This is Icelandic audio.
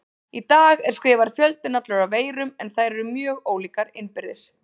Í dag er skrifaður fjöldinn allur af veirum en þær eru mjög ólíkar innbyrðis.